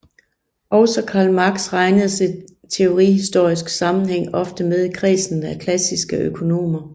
Også Karl Marx regnes i teorihistorisk sammenhæng ofte med i kredsen af klassiske økonomer